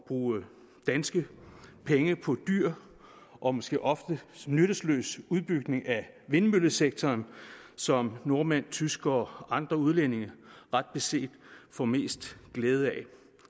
bruge danske penge på dyr og måske ofte nyttesløs udbygning af vindmøllesektoren som nordmænd tyskere og andre udlændinge ret beset får mest glæde af